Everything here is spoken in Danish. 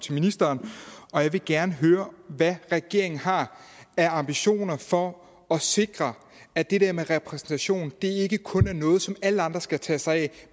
til ministeren jeg vil gerne høre hvad regeringen har af ambitioner for at sikre at det der med repræsentation ikke kun er noget som alle andre skal tage sig af